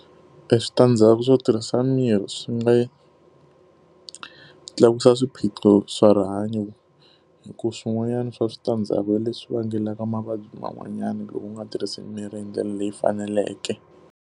Eswitandzhaku swo tirhisa mirhi swi nga tlakusa swiphiqo swa rihanyo hikuva swin'wanyana swa switandzhaku hi leswi vangelaka mavabyi man'wanyana loko u nga tirhisi mirhi hi ndlela leyi faneleke.